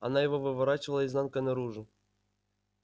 она его выворачивала изнанкой наружу